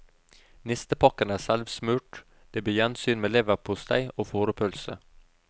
Nistepakken er selvsmurt, det blir gjensyn med leverpostei og fårepølse.